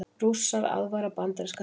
Rússar aðvara bandaríska þingmenn